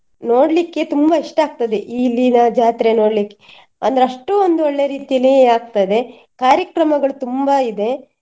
ನೋಡ್ಲಿಕ್ಕೆ ತುಂಬಾ ಇಷ್ಟಾಗ್ತದೆ ಇಲ್ಲಿನ ಜಾತ್ರೆ ನೋಡ್ಲಿಕ್ಕೆ ಅಂದ್ರೆ ಅಷ್ಟು ಒಂದು ಒಳ್ಳೆ ರೀತಿಲಿ ಆಗ್ತದೆ ಕಾರ್ಯಕ್ರಮಗಳು ತುಂಬಾ ಇದೆ.